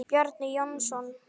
Bjarni Jónsson